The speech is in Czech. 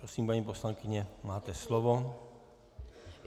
Prosím, paní poslankyně, máte slovo.